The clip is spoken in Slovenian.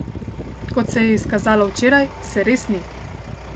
Kot se je izkazalo včeraj, se res ni.